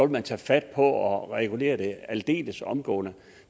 man tage fat på at regulere det aldeles omgående